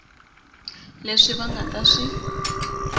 leswi va nga ta swi